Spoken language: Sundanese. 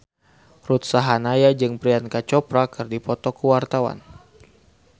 Ruth Sahanaya jeung Priyanka Chopra keur dipoto ku wartawan